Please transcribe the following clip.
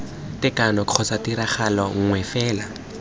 tekano kgotsa tiragalo nngwe fela